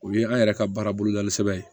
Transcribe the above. O ye an yɛrɛ ka baara bolodali sɛbɛn ye